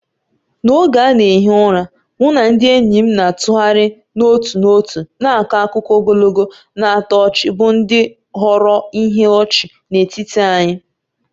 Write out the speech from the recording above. N'oge a na-ehi ụra, mụ na ndị enyi m na-atụgharị n'otu n'otu na-akọ akụkọ ogologo na-atọ ọchị bụ ndị ghọrọ ihe ọchị n'etiti anyị.